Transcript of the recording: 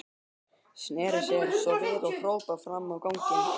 Sneri sér svo við og hrópaði fram á ganginn.